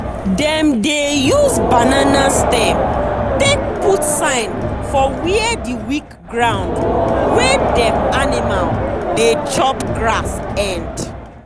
dem dey use banana stem take put sign for where the weak ground wey dem animal dey chop grass end.